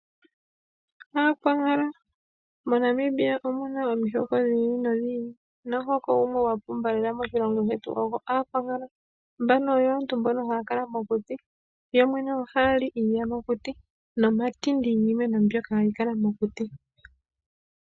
Aakwankala MoNamibia omu na omihoko dhi ili nodhi ili nomuhoko gumwe gwa pumba lela moshilongo shetu ogwAakwankala. Mbano oyo aantu mbono ohaya kala mokuti. Yo yene ohaya li iiyamakuti nomatindi giimeno mbyono hayi kala mokuti.